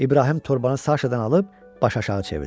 İbrahim torbanı Saşadan alıb başaşağı çevirdi.